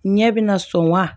Ɲɛ bina sɔn wa